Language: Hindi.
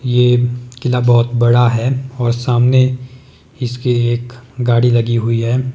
ये किला बहोत बड़ा है और सामने इसके एक गाड़ी लगी हुई है।